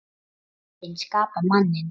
Fötin skapa manninn